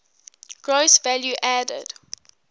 gross value added